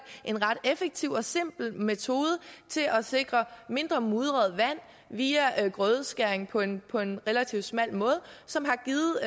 en ret effektiv og simpel metode til at sikre mindre mudret vand via grødeskæring på en på en relativt smal måde som har givet